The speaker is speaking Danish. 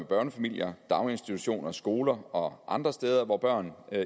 børnefamilier daginstitutioner skoler og andre steder hvor børn